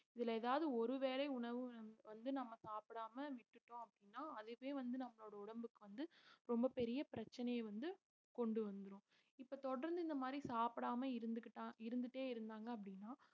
இதுல ஏதாவது ஒரு வேளை உணவு வந்~ வந்து நாம சாப்பிடாம விட்டுட்டோம் அப்படினா அதுவே வந்து நம்மளோட உடம்புக்கு வந்து ரொம்ப பெரிய பிரச்சனைய வந்து கொண்டு வந்துரும் இப்ப தொடர்ந்து இந்த மாதிரி சாப்பிடாம இருந்துகிட்டான் இருந்துட்டே இருந்தாங்க அப்படீன்னா